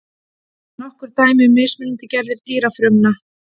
nokkur dæmi um mismunandi gerðir dýrafrumna